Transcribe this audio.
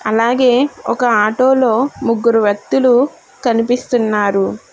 అలాగే ఒక ఆటోలో ముగ్గురు వ్యక్తులు కనిపిస్తున్నారు.